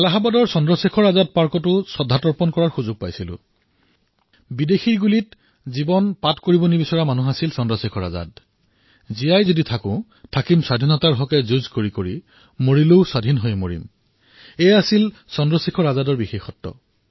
এলাহাবাদৰ চন্দ্ৰশেখৰ আজাদ উদ্যানত শ্ৰদ্ধাঞ্জলি জ্ঞাপন কৰাৰ সুযোগ পাইছোঁ আৰু চন্দ্ৰশেখৰ আজাদ এনে এজন বীৰ পুৰুষ আছিল যি বিদেশীৰ গুলীত মৃত্যুবৰণ কৰিব খোজা নাছিল স্বতন্ত্ৰতাৰ সৈতে জীয়াই থাকিম আৰু স্বতন্ত্ৰতাৰে মৰিম এয়াই আছিল তেওঁৰ বিশেষত্ব